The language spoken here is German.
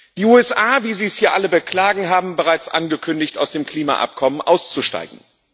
Die USA wie Sie es hier alle beklagen haben bereits angekündigt, aus dem Klimaabkommen auszusteigen.